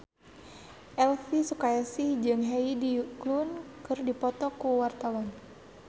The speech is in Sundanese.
Elvi Sukaesih jeung Heidi Klum keur dipoto ku wartawan